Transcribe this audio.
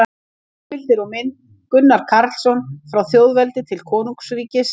Heimildir og mynd: Gunnar Karlsson: Frá þjóðveldi til konungsríkis